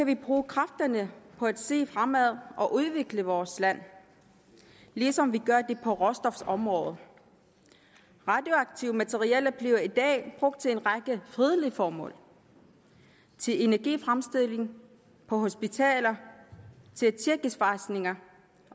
kan bruge kræfterne på at se fremad og udvikle vores land ligesom vi gør det på råstofområdet radioaktive materialer bliver i dag brugt til en række fredelige formål til energifremstilling på hospitaler til at tjekke svejsninger